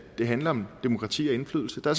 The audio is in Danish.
det handler om demokrati og indflydelse der